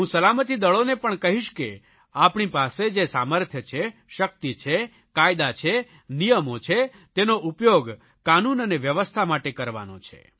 હું સલામતિદળોને પણ કહીશ કે આપણી પાસે જે સામર્થ્ય છે શકિત છે કાયદા છે નિયમો છે તેનો ઉપયોગ કાનૂન અને વ્યવસ્થા માટે કરવાનો છે